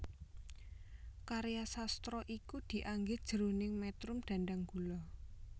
Karya sastra iki dianggit jroning métrum dhandhanggula